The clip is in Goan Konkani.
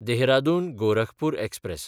देहरादून–गोरखपूर एक्सप्रॅस